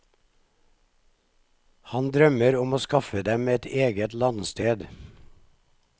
Han drømmer om å skaffe dem et eget landsted.